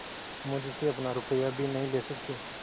मुझसे अपना रुपया भी नहीं ले सकती